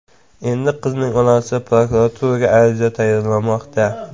Endi qizning onasi prokuraturaga ariza tayyorlamoqda.